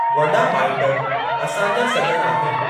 वॾा माइट असांजा सज॒ण आहिनि।